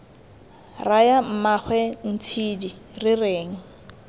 raya mmaagwe ntshidi re reng